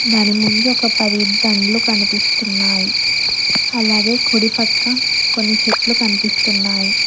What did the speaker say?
దాని ముందు ఒక పది పండ్లు కనిపిస్తున్నాయి అలాగే కుడిపక్క కొన్ని చెట్లు కనిపిస్తున్నాయి.